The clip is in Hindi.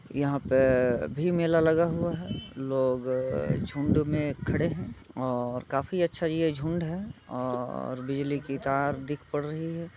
यहाँ पे भी मेला लगा हुवा है। लोग झुण्ड में खड़े हैं और काफी अच्छा ये झुण्ड है और बिजली की तार दिख पड़ रही है।